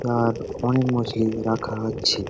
আর অনেক মাছলি রাখা হচ্ছে।